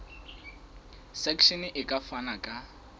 section e ka fana ka